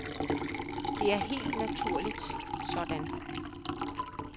Det er helt naturligt sådan.